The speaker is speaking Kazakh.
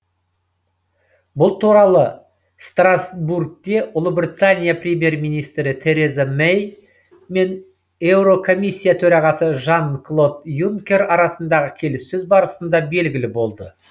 бұл туралы страстбургте ұлыбритания премьер министрі тереза мэй мен еурокомиссия төрағасы жан клод юнкер арасындағы келіссөз барысында белгілі болды